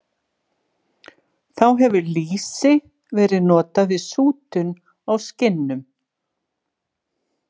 Þá hefur lýsi verið notað við sútun á skinnum.